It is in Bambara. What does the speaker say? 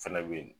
Fɛnɛ be yen